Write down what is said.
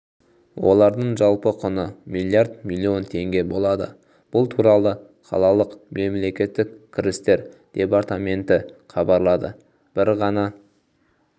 олардың жалпы құны миллиард миллион теңге болады бұл туралы қалалық мемлекеттік кірістер департаменті хабарлады бір ғана